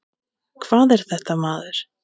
Hvað er þetta, maður?